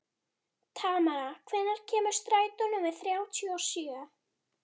Tamara, hvenær kemur strætó númer þrjátíu og sjö?